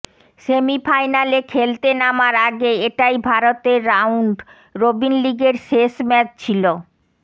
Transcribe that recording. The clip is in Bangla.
সেমিফাইনালে খেলতে নামার আগে এটাই ভারতের রাউন্ড রবিন লিগের শেষ ম্যাচ ছিল